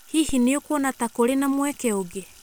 Hihi nĩ ũkuona ta kũrĩ na mweke ũngĩ